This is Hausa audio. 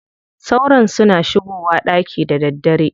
Sauron suna shigowa ɗaki da daddare.